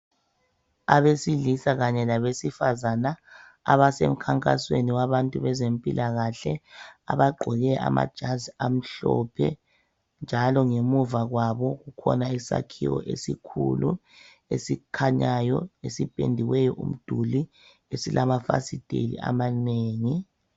Abesilisa kanye labesifazana abasemkhankasweni wabantu bezempilakahle abagqoke amajazi amhlophe njalo ngemuva kwabo kukhona isakhiwo esikhulu esikhanyayo esipendiweyo umduli esilamafasiteli amanengi.